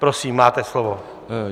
Prosím, máte slovo.